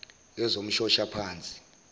yezomshoshaphansi